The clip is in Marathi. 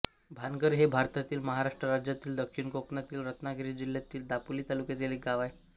भानघर हे भारतातील महाराष्ट्र राज्यातील दक्षिण कोकणातील रत्नागिरी जिल्ह्यातील दापोली तालुक्यातील एक गाव आहे